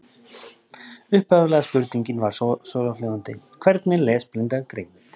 Upphaflega spurningin var svohljóðandi: Hvernig er lesblinda greind?